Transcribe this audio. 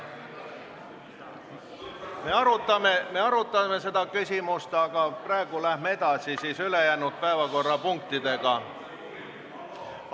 Jah, me arutame seda küsimust, aga praegu läheme edasi siis ülejäänud päevakorrapunktidega.